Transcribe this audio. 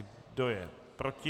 Kdo je proti?